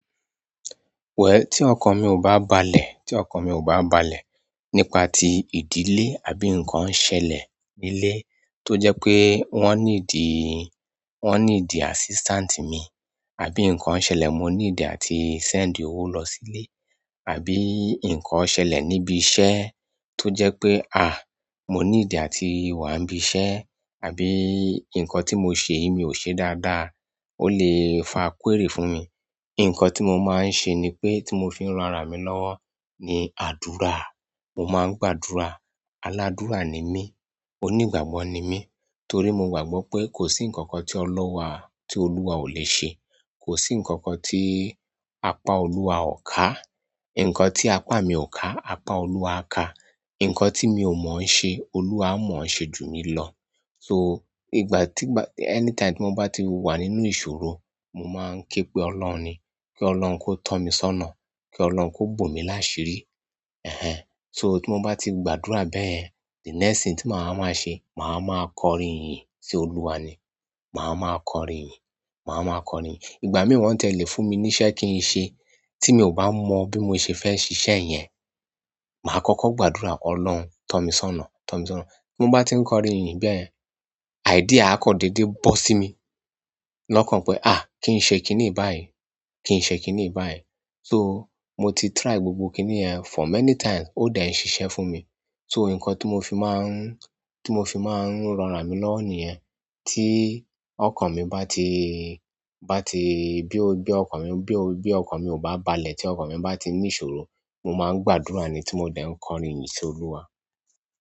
Well, tí ọkàn mi ò bá balẹ̀, tí ọkàn mi ò bá balẹ̀ nípa ti ìdílé àbí nǹkan ṣẹlẹ̀ nílé tó jẹ́ pé wọ́n nídi, wọ́n needil assistant mi, àbí nǹkan ṣẹlẹ̀ mo need àti send owó lọ sílé, àbí nǹkan ṣẹlẹ̀ níbi iṣẹ́ tó jẹ́ pé, mo need àti wà nibí iṣẹ́, àbí nǹkan tí mo ṣe yìí mi ò ṣe dáadáa, ó lè fa query fún mi. Ǹkan tí mo máa ń ṣe ni pé tí mo fi ń ran ara mi lọ́wọ́ ni àdúrà. Mo máa ń gbàdúrà. Aládúrà ni mí. Onígbàgbọ́ ni mí. Torí mo gbàgbọ́ pé kò sí ǹkan kan tí Ọlọ́run wa, tí Olúwa ò le ṣe. Kò sí ǹkan kan tí apá Olúwa ò ká. Ǹkan tí apá mi ò ká, apá Olúwa á ká. Ǹkan tí mi ò mọ̀ ń ṣe, Olúwa mọ̀ ń ṣe ju mi lọ. So, ìgbà tí n bá-- anytime tí mo bá ti wà nínú ìṣòro, mo máa ń ké pe Ọlọ́run ni. Ki Ọlọ́run kó tọ́ mi sọ́nà, kí Ọlọ́run kó bomí láṣirí. So, tí mo bá ti gbàdúrà bẹ́yẹ̀n, the next thing tí màá máa ṣe, màá máa kọrin ìyìn sí Olúwa ni. Màá máa kọrin iyin, màá máa kọrin. Ìgbà mìíràn won tiẹ́ le fún mi ní iṣẹ́ kí n ṣe, tí mi ò bá mọ bí mo ṣe fẹ́ ṣíṣe yen, màá kọ́kọ́ gbàdúrà, Ọlọ́run tọ́ mi sọ́nà, tọ́ mi sọ́nà. Tí mo bá ti ń kọrin ìyìn bẹ́yẹ̀n, idea a kan dédé bọ́ sí mi. Lọ́kàn pé, kí n ṣe kíní yi báyìí, kí n ṣe kíní yi báyìí. So, mo ti try gbogbo kíní yẹn for many times ó de n ṣiṣẹ́ fún mi. So, ǹkan tí mo fi máa ń, tí mo fi máa ń rọra mi lọ́wọ́ nìyẹn. Ti okan mi bati, bi okan mi o ba balẹ̀ ti okan mi ti ni ìṣòro mo ma gbàdúrà ni ti mo de n kọrin iyin si oluwa.